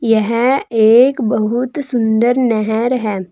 यह एक बहुत सुंदर नहर है।